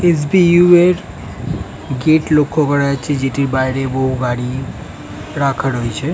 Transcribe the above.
SBU. এর gate লক্ষ্য করা হয়েছে যেটির বাইরে বহু গাড়ি রাখা রয়েছে।